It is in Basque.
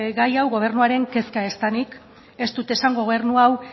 gai hau gobernuaren kezka ez denik ez dut esan gobernu hau